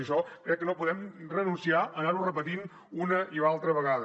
i això crec que no podem renunciar a anar ho repetint una i altra vegada